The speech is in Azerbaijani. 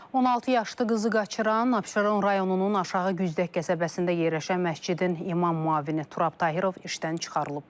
16 yaşlı qızı qaçıran Abşeron rayonunun Aşağı Güzdək qəsəbəsində yerləşən məscidin imam müavini Turab Tahirov işdən çıxarılıb.